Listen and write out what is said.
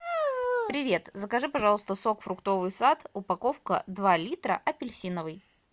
привет закажи пожалуйста сок фруктовый сад упаковка два литра апельсиновый